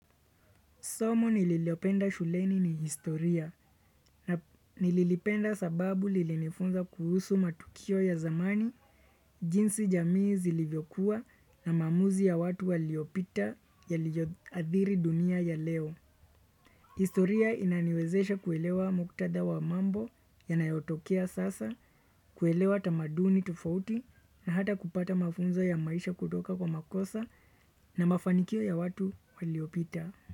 Somo nililopenda shuleni ni historia. Nililipenda sababu lilinifunza kuhusu matukio ya zamani, jinsi jamii zilivyokuwa na maamuzi ya watu waliopita yaliyoadhiri dunia ya leo. Historia inaniwezesha kuelewa muktadha wa mambo yanayotokea sasa, kuelewa tamaduni tofauti na hata kupata mafunzo ya maisha kutoka kwa makosa na mafanikio ya watu waliopita.